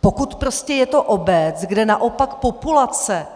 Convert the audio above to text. Pokud prostě je to obec, kde naopak populace